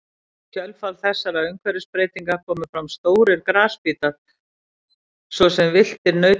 Í kjölfar þessara umhverfisbreytinga komu fram stórir grasbítar svo sem villtir nautgripir.